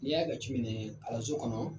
N'i y'a ka kalanso kɔnɔ